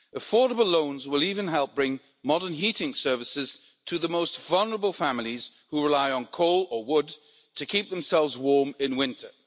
Affordable loans will even help bring modern heating services to the most vulnerable families who rely on coal or wood to keep themselves warm in winter.